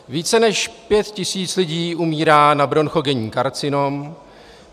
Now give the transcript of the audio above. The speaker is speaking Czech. Více než pět tisíc lidí umírá na bronchogenní karcinom.